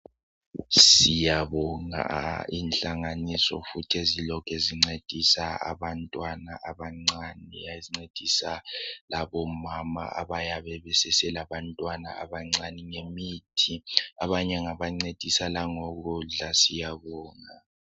Siyabonga inhlanganiso futhi ezilokhe zincedisa abantwana abancane ezincedisa labomama abayabe beseselabantwana abancane ngemithi abanye ngabancedisa nangokudla siyabonga.